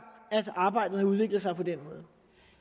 at arbejdet har udviklet sig på den måde